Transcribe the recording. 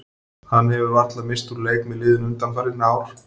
Hann hefur varla misst úr leik með liðinu undanfarin ár.